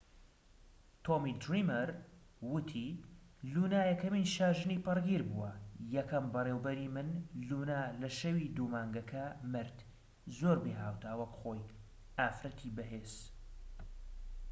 تۆمی دریمەر ووتی لونا یەکەمین شاژنی پەڕگیر بووە یەکەم بەڕێوەبەری من لونا لە شەوی دوو مانگەکە مرد زۆر بێھاوتا وەک خۆی ئافرەتی بەهێز